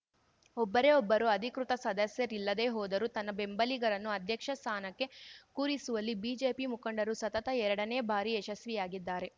ಒಬ್ಬರೇ ಒಬ್ಬರು ಅಧಿಕೃತ ಸದಸ್ಯರಿಲ್ಲದೇ ಹೋದರೂ ತನ್ನ ಬೆಂಬಲಿಗರನ್ನು ಅಧ್ಯಕ್ಷ ಸ್ಥಾನಕ್ಕೆ ಕೂರಿಸುವಲ್ಲಿ ಬಿಜೆಪಿ ಮುಖಂಡರು ಸತತ ಎರಡನೇ ಬಾರಿ ಯಶಸ್ವಿಯಾಗಿದ್ದಾರೆ